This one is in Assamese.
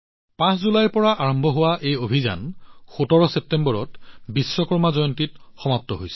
৫ জুলাইত আৰম্ভ হোৱা এই অভিযান বিশ্বকৰ্মা জয়ন্তীৰ দিনা ১৭ ছেপ্টেম্বৰত সমাপ্ত হৈছিল